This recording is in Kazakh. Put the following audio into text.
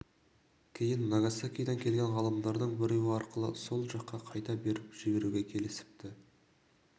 кейін нагасакиден келген ғалымдардың біреуі арқылы сол жаққа қайта беріп жіберуге келісіпті